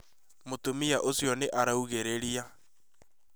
Mũtumia ũcio nĩ araugĩrĩrĩa